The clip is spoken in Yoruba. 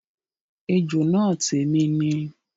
Ejò náà tèmi ni